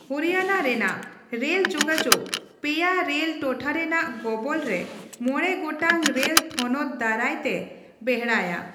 ᱦᱚᱨᱤᱭᱟᱱᱟ ᱨᱮᱱᱟᱜ ᱨᱮᱞ ᱡᱳᱜᱟᱡᱳᱜᱽ ᱯᱮᱭᱟ ᱨᱮᱞ ᱴᱚᱴᱷᱟ ᱨᱮᱱᱟᱜ ᱜᱚᱵᱚᱞ ᱨᱮ ᱢᱚᱬᱮ ᱜᱚᱴᱟᱝ ᱨᱮᱞ ᱛᱷᱚᱱᱚᱛ ᱫᱟᱨᱟᱭ ᱛᱮ ᱵᱮᱲᱦᱟᱭᱟ ᱾